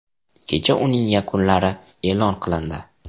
Kecha uning yakunlari e’lon qilindi.